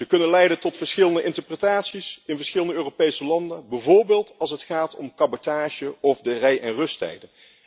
Ze kunnen leiden tot verschillende interpretaties in verschillende Europese landen, bijvoorbeeld als het gaat om cabotage of de rij en rusttijden.